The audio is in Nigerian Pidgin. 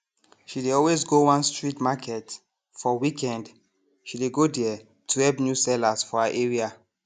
she dey always go one street market for weekend she dey go there to help new sellers for her area